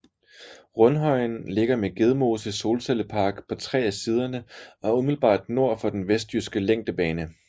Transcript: Rundhøjen ligger med Gedmose Solcellepark på tre af siderne og umiddelbart nord for Den vestjyske længdebane